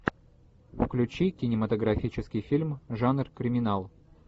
включи кинематографический фильм жанр криминал